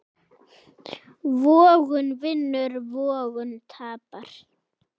Vogun vinnur vogun tapar.